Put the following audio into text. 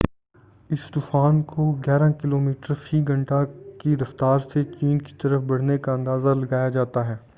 اس طوفان کو گیارہ کلومیٹر فی گھنٹہ کی رفتار سے چین کی طرف بڑھنے کا اندازہ لگایا جاتا ہے